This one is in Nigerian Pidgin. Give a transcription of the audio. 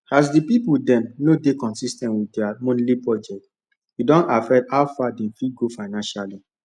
as the people dem no dey consis ten t with their monthly budget e don affect how far dem fit go financially